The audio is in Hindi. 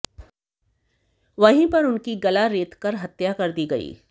वहीं पर उनकी गला रेतकर हत्या कर दी गई